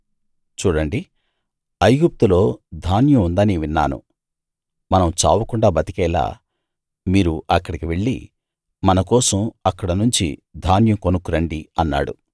చూడండి ఐగుప్తులో ధాన్యం ఉందని విన్నాను మనం చావకుండా బతికేలా మీరు అక్కడికి వెళ్ళి మన కోసం అక్కడనుంచి ధాన్యం కొనుక్కురండి అన్నాడు